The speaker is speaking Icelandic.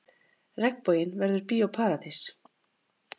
Regnboginn verður Bíó Paradís